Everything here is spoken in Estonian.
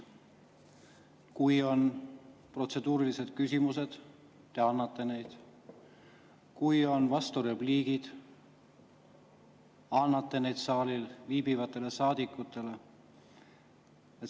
Kui on protseduurilised küsimused, siis te annate, kui on vasturepliigid, saalis viibivatele saadikutele.